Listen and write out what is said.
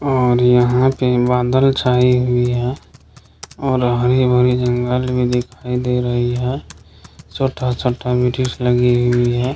और यहाँ पे बादल छाई हुई है और हरी-भरी जंगल भी दिखाई दे रही है छोटा-छोटा बिक्ष लगी हुई है।